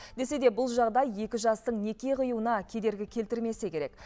десе де бұл жағдай екі жастың неке қиюына кедергі келтірмесе керек